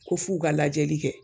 Ko f'u ka lajɛli kɛ.